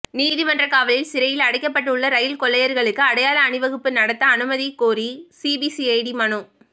நீதிமன்ற காவலில் சிறையில் அடைக்கப்பட்டுள்ள ரயில் கொள்ளையர்களுக்கு அடையாள அணிவகுப்பு நடத்த அனுமதிக் கோரி சிபிசிஐடி மனு